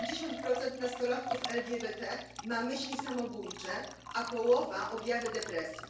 70 nastolatków LGBT ma myśli samobójcze, a połowa objawy depresji.